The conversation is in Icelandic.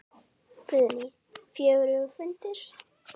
Guðný: Fjörugur fundur?